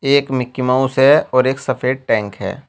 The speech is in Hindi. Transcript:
एक मिकी माउस है और एक सफेद टैंक है।